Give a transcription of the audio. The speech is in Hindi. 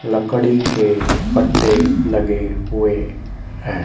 लकड़ी के पट्टे लगे हुए हैं।